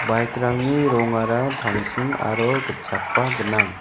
bike-rangni rongara tangsim aro gitchakba gnang.